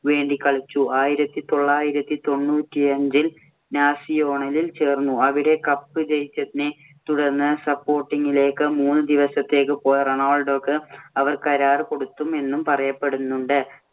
വേണ്ടി കളിച്ചു. ആയിരത്തി തൊള്ളായിരത്തി തൊണ്ണൂറ്റിയഞ്ചില്‍ നാസിയോണാലിൽ ചേർന്നു. അവിടെ cup ജയിച്ചതിനെ തുടർന്ന് support ഇങ്ങിലേക്ക് മൂന്ന് ദിവസത്തേക്ക് പോയ റോണാൾഡോക്ക് അവർ കരാറ് കൊടുത്തു എന്നും പറയപ്പെടുന്നുണ്ട്.